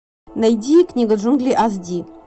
найди книга джунглей аш ди